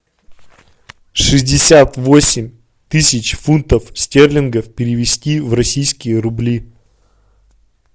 шестьдесят восемь тысяч фунтов стерлингов перевести в российские рубли